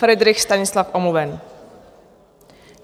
Fridrich Stanislav: Omluven.